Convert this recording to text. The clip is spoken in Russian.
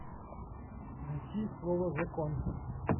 найти слово закон